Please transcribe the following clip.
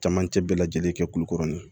Camancɛ bɛɛ lajɛlen kɛ kulukɔrɔ ni ye